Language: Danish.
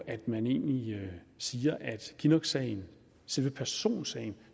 at man egentlig siger at kinnocksagen selve personsagen